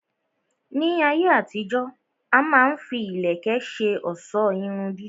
Ní ayé àtijó, a má ń fi ìlẹ̀kẹ̀ ṣe ọ̀sọ́ Irun dídì